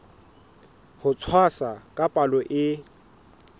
ho tshwasa ka palo e